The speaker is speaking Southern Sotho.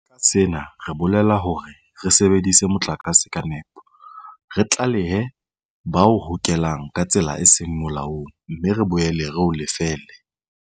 Ka sena re bolela hore re sebedise motlakase ka nepo, re tlalehe ba o hokelang ka tsela e seng molaong mme re boele re o lefelle.